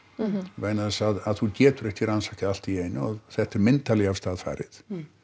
vegna þess að þú getur ekki rannsakað allt í einu og þetta er myndarlega af stað farið